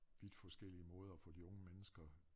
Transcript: Vidt forskellige måder at få de unge mennesker